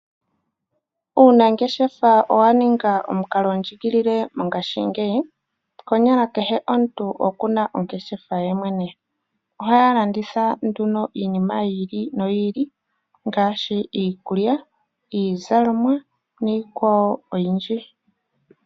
Uunangeshefa owa ninga omukalo ndjigilile konyala kehe omuntu okuna ongeshefa ye mwene, ohaya landitha nduno iinima yiili no yiili ngashi iikulya, iizalomwa niikwawo oyindji.